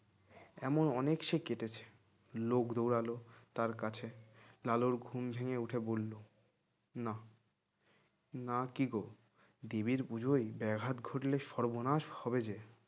এমন অনেক সে কেটেছে লোক দৌড়ালো তার কাছে লালুর ঘুম ভেঙে উঠে বলল না নাকি গো দেবীর পুজোয় ব্যাঘাত ঘটলে সর্বনাশ হবে যে